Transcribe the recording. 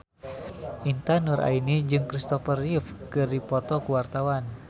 Intan Nuraini jeung Christopher Reeve keur dipoto ku wartawan